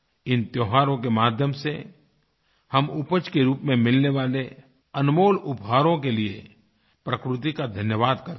इन त्योहारों के माध्यम से हम उपज के रूप में मिलने वाले अनमोल उपहारों के लिए प्रकृति का धन्यवाद करते हैं